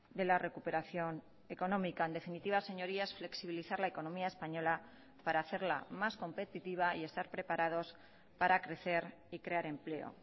de la recuperación económica en definitiva señorías flexibilizar la economía española para hacerla más competitiva y estar preparados para crecer y crear empleo